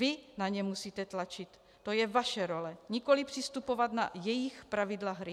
Vy na ně musíte tlačit, to je vaše role, nikoli přistupovat na jejich pravidla hry.